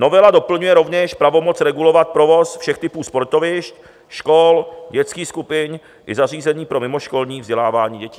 Novela doplňuje rovněž pravomoc regulovat provoz všech typů sportovišť, škol, dětských skupin i zařízení pro mimoškolní vzdělávání dětí.